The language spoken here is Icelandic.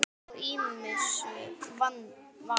Er hann þó ýmsu vanur.